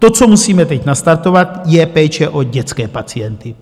To, co musíme teď nastartovat, je péče o dětské pacienty.